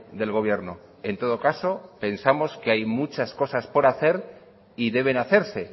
del gobierno en todo caso pensamos que hay muchas cosas por hacer y deben hacerse